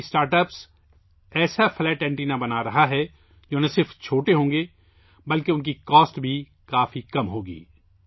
یہ startup ایسے flat antenna بنا رہا ہے جو نہ صرف چھوٹے ہوں گے بلکہ ان کی قیمت بھی بہت کم ہوگی